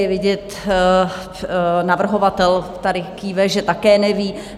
Je vidět - navrhovatel tady kýve - že také neví.